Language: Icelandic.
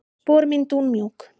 Spor mín dúnmjúk.